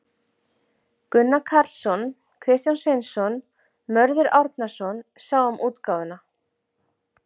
Gunnar Karlsson, Kristján Sveinsson, Mörður Árnason sáu um útgáfuna.